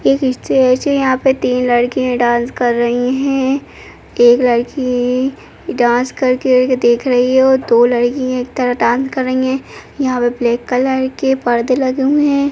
एक इस्टेज है यहाँँ पे तीन लड़कियां डांस कर रही हैं। एक लड़की डांस करके देख रही है और दो लड़की एक तरह डांस कर रही हैं। यहाँँ पे ब्लेक कलर के पर्दे लगे हुए हैं।